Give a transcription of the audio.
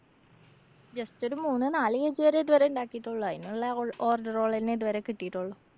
just ഒരു മൂന്ന് നാല് kg വരെ ഇതുവരെ ഉണ്ടാക്കിട്ടുള്ളൂ. അയിനൊള്ള ഒ~ order കളെ തന്നെ ഇതുവരെ കിട്ടിട്ടോള്ളൂ.